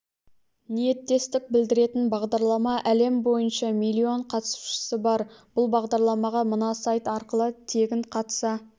ниеттестік білдіретін бағдарлама әлем бойынша миллион қатысушысы бар бұл бағдарламаға мына сайт арқылы тегін қатыса